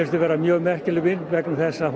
þetta vera mjög merkileg mynd vegna þess að